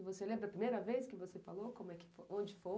E você lembra a primeira vez que você falou onde foi?